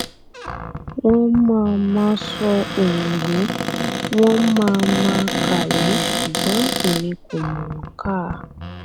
wọn máa máa sọ òyìnbó wọn máa máa kàwé ṣùgbọn èmi kò mọ̀ ọ́n kà